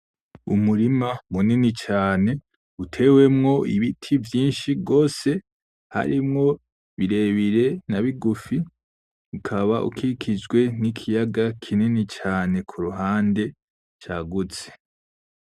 Umurima munini cane utewemo ibiti vyinshi rwose harimo birebire na bigufi ukaba ukishijwe nikiyaga kinini cane kuruhande cagutse.